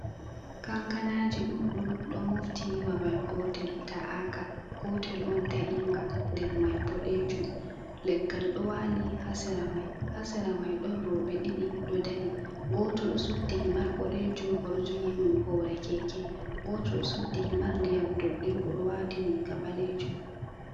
Kankanaji ɗuɗɗum ɗo mofti babal gotel ta’aka, gotel on ta’inga nder mai boɗejum leggal ɗo wali hasera mai. hasera mai ɗon roɓe ɗiɗi ɗo dari, gotel ɗo suddi himar boɗejum oɗo jogi hundu hore keke, gotel ɗo suddi himar diyam doɗɗe oɗowati riga ɓalejum.